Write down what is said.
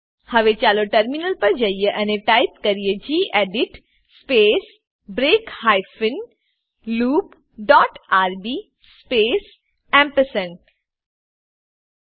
હવે ચાલો ટર્મિનલ પર જઈએ અને ટાઈપ કરીએ gedit space break hyphen loop dot rb space ampersand gedit space break hyphen loop dot rb space ampersand